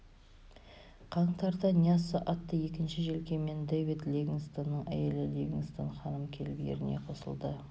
қаңтарда ньясса атты екінші желкенмен дэвид ливингстонның әйелі ливингстон ханым келіп еріне қосылды